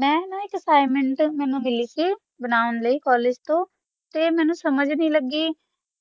ਮਾ ਨਾ ਏਕ assagment ਦਾ ਕਾ ਆਂ ਦੀ ਸੀ college ਤਾ ਮੇਨੋ ਸਮਾਜ ਨਹੀ ਲਾਗੀ